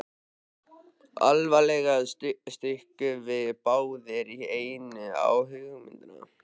Allavega stukkum við báðir í einu á hugmyndina.